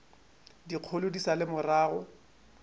dikgolo di sa le morago